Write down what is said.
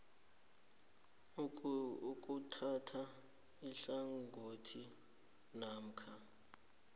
ukuthatha ihlangothi namkha